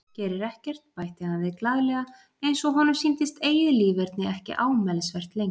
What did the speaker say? Gerir ekkert, bætti hann við glaðlega eins og honum sýndist eigið líferni ekki ámælisvert lengur.